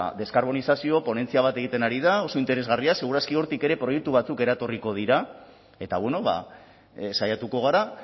deskarbonizazio ponentzia bat egiten ari da oso interesgarria segur aski hortik ere proiektu batzuk eretorriko dira eta saiatuko gara